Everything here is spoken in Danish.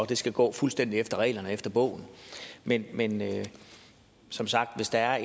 det skal gå fuldstændig efter reglerne og efter bogen men men som sagt hvis der er